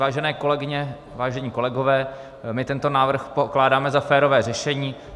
Vážené kolegyně, vážení kolegové, my tento návrh pokládáme za férové řešení.